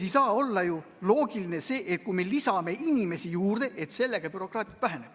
Ei saa ju olla loogiline, et kui me lisame inimesi juurde, siis bürokraatia väheneb.